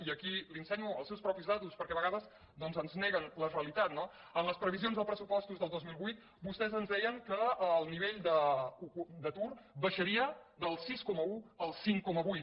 i aquí li ensenyo les seves mateixes dades perquè a vegades doncs ens neguen la realitat no en les previsions dels pressupostos del dos mil vuit vostès ens deien que el nivell d’atur baixaria del sis coma un al cinc coma vuit